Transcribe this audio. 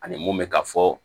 Ani mun bɛka ka fɔ